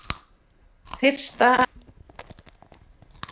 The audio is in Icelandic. Fyrsta atriðið á.